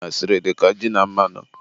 umunwanyị na asịrị dịka ji na mmanụ.